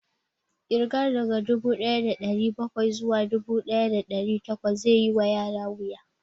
Ƙirga daga dubu ɗaya da ɗari bakwai zuwa dubu ɗaya da ɗari takwas zai yi wa yara wuya